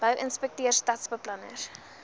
bou inspekteurs stadsbeplanners